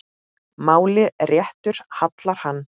máli réttu hallar hann